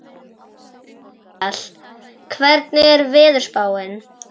Asael, hvernig er veðurspáin?